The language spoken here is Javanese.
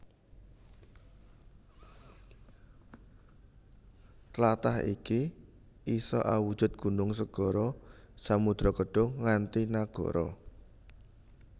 Tlatah iki isa awujud gunung segara samudra kedhung nganti nagara